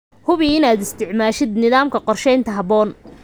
Hubi inaad isticmaashid nidaamka qorshaynta habboon.